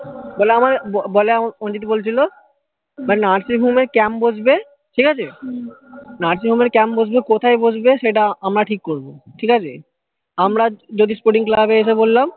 বলে আমার বলে আমার অঞ্চিত বলছিলো nursing home এ camp বসবে ঠিকাছে nursing home এ camp বসবে কোথায় বসবে সেটা আমরা ঠিক করবো ঠিকাছে আমরা যদি sporting club এ এসে বললাম